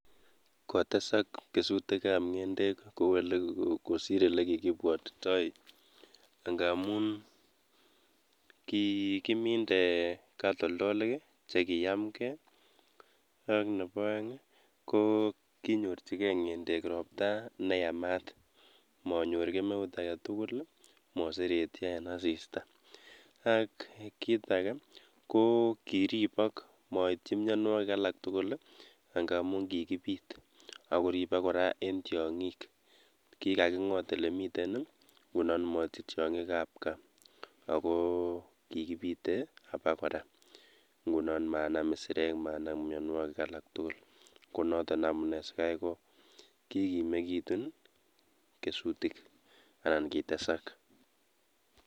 Kotesak kesuutikab ng'endek kosiir olekikibwotitoi ngamun kikimindee katoltolik chekiamgee. Nebo the oeng ko kinyorchigei ng'endek roptaa neyaamat, manyoor kemeut agetugul ak moseretyoo en asistaa. Ak kitage ko kiribok moiityii mionwogik alak tugul I,angamun kikibiit ak kengoot ole kimiten komochut tiong'iik alak tugul. Ako kikibite abakora Komaam isireek, Kora ko amune sikaikokikimekitun keesutik anan kitesak.